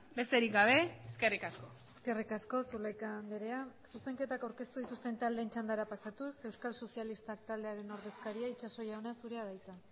besterik gabe eskerrik asko eskerrik asko zulaika andrea zuzenketak aurkeztu dituzten taldeen txandara pasatuz euskal sozialistak taldearen ordezkaria itxaso jauna zurea da hitza